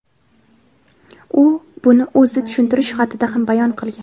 u buni o‘z tushuntirish xatida ham bayon qilgan.